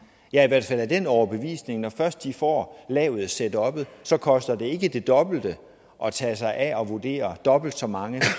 jeg i hvert fald af den overbevisning at når først de får lavet setuppet så koster det ikke det dobbelte at tage sig af at vurdere dobbelt så mange